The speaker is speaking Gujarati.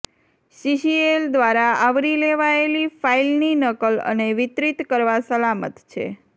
સીસીએલ દ્વારા આવરી લેવાયેલી ફાઇલની નકલ અને વિતરિત કરવા સલામત છે